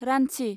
Ranchi